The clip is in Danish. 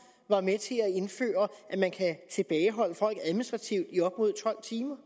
var med til at indføre at man kan tilbageholde folk administrativt i op mod tolv timer